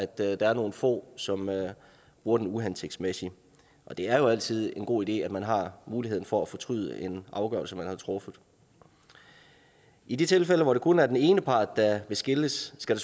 der er nogle få som bruger den uhensigtsmæssigt og det er jo altid en god idé at man har muligheden for at fortryde en afgørelse man har truffet i de tilfælde hvor det kun er den ene part der vil skilles skal